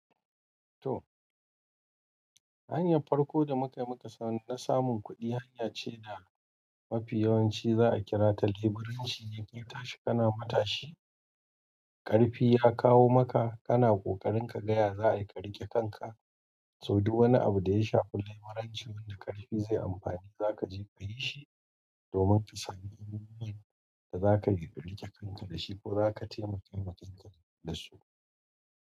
To, hanyar farko da muka mukasani na samun kuɗi hanya ce da mafi yawanci za'a kira ta leburanci, inda ita shika na matashi. Ƙarfi ya kawo maka kana ƙoƙarin kaga ya za'a yi ka riƙe kanka to duk wani abu da ya shafi leburanci wanda ƙarfi zai yi amfani, za ka je ka yi shi domin ka sami hanyar da za ka yi ka riƙe kanka da shi ko za ka taimaka matanka dasu.